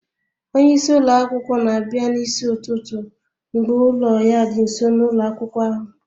Onye isi ụlọ akwụkwọ na-abịa n'isi ụtụtụ mgbe ụlọ ya dị nso na ụlọ akwụkwọ ahụ